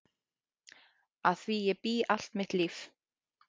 Að því bý ég allt mitt líf.